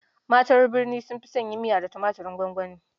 Matan birni sun fi son yin miya da tumaturin gwangwani.